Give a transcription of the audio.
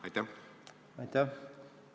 Aitäh!